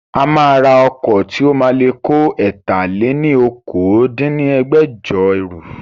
A máa ra ọkọ̀ tí ó máa le kó ẹ̀ta-lé-ní-okòó dín ní ẹgbẹ́jọ ẹrú